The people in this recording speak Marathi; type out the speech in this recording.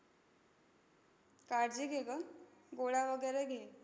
काळजी घे गं. गोळ्या वगैरे घे.